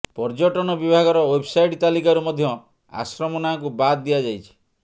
ପର୍ଯ୍ୟଟନ ବିଭାଗର ୱେବସାଇଟ୍ ତାଲିକାରୁ ମଧ୍ୟ ଆଶ୍ରମ ନାଁକୁ ବାଦ୍ ଦିଆଯାଇଛି